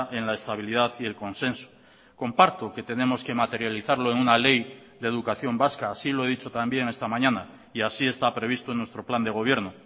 en la estabilidad y el consenso comparto que tenemos que materializarlo en una ley de educación vasca así lo he dicho también esta mañana y así está previsto en nuestro plan de gobierno